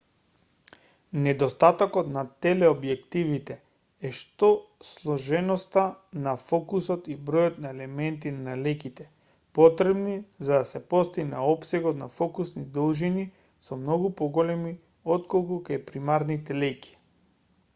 недостатокот на телеобјективите е што сложеноста на фокусот и бројот на елементи на леќите потребни за да се постигне опсегот на фокусни должини се многу поголеми отколку кај примарните леќи